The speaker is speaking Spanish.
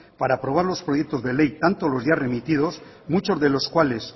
para aprobar los proyectos de ley tanto los ya remitidos muchos de los cuales